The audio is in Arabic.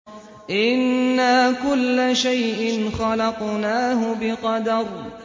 إِنَّا كُلَّ شَيْءٍ خَلَقْنَاهُ بِقَدَرٍ